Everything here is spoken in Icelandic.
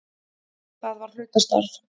Það var hlutastarf.